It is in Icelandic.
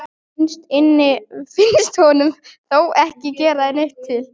Innst inni finnst honum það þó ekki gera neitt til.